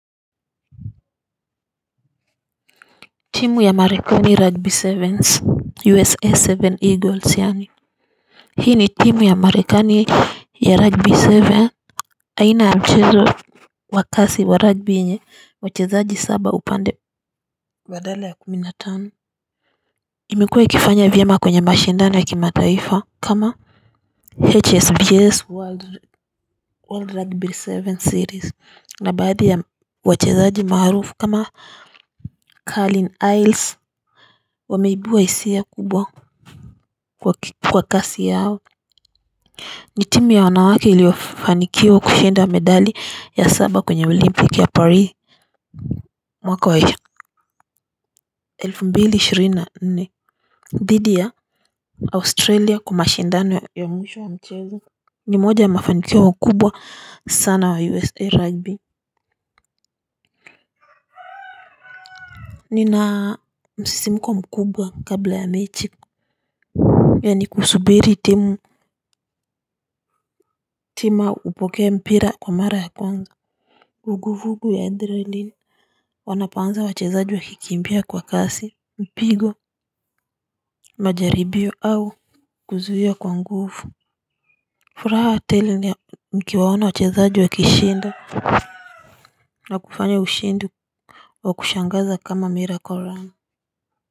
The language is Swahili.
Timu ya Marekani ya 'Rugby sevens' 'USA saba Eagles' yaani. Hii ni timu ya Marekani ya 'Rugby seven', aina ya mchezo wa kasi wa 'Rugby' yenye wachezaji saba upande badala ya kumi na tano. Imekuwe ikifanya vyema kwenye mashindano ya kimataifa kama 'HSBSC world' 'world rugby seven series' na baadhi ya wachezaji maarufu kama Carlin Iles, wameibua hisia kubwa kwa kasi yao. Ni timu ya wanawake iliofanikiwa kushinda medali ya saba kwenye Olimpiki ya Paris. Mwaka wa elfu mbili ishirini na nne. Dhidi ya Australia kwa mashindano ya mwishwo wa mchezo. Ni moja ya mafanikio kubwa sana wa USA rugby. Nina msisimko mkubwa kabla ya mechi. Yaani kusubiri timu tima upokee mpira kwa mara ya kwanza vuguvugu ya 'adrenaline' wanapoanza wachezaji wakikimbia kwa kasi, mpigo, majaribio au kuzuia kwa nguvu. Furaha tele ni ya nikiwaona wachezaji wakishinda, na kufanya ushindi wa kushangaza kama 'miracle run'.